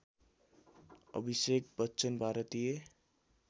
अभिषेक बच्चन भारतीय